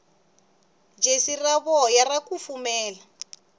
jesi ra voya ra kufumela